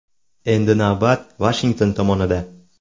Endi navbat Vashington tomonida.